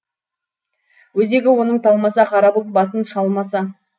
өзегі оның талмаса қара бұлт басын шалмаса